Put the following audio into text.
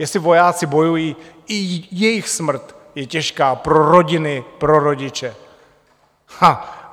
Jestli vojáci bojují, i jejich smrt je těžká pro rodiny, pro rodiče.